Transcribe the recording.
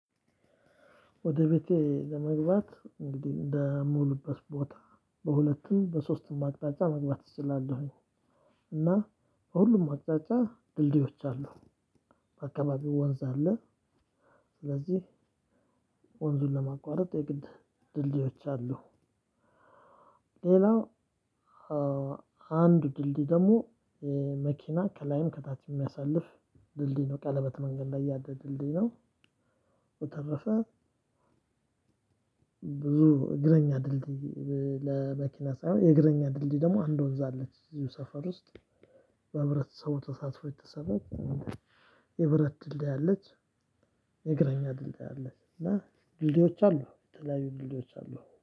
ወደ ቤቴ ለመግባት እንግዲህ እንደምውልበት ቦታ በሁለትም በሶስትም አቅጣጫ መግባት እችላለሁኝ እና ሁሉም አቅጣጫ ድልድዮች አሉ በአካባቢው ወንዝ አለ ስለዚህ ወንዙን ለማቋረጥ የግድ ድልድዮች አሉ ሌላው አንድ ድልድይ ደግሞ መኪና ከላይም ከታችም የሚያሳልፍ ድልድይ ነው ቀለበት መንገድ ላይ ያለ ድልድይ ነው በተረፈ ብዙ እግረኛ ድልድይ ለመኪና ሳይሆን የእግረኛ ድልድይ ደግሞ አንድ ወንዝ አለች እዚሁ ሰፈር ውስጥ በብረት ሰው ተሳትፎ የተሰራው የብረት ድልድይ አለች። የእግራኛ ድልድይ አለች እና ድልድዮች አሉ። የተለያዩ ድልድዮች አሉ።